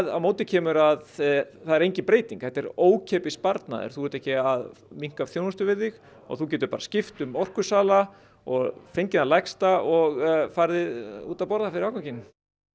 á móti kemur að það er engin breyting þetta er ókeypis sparnaður þú ert ekki að minnka þjónustu við þig og þú getur bara skipt um orkusala og fengið það lægsta og farið út að borða fyrir afganginn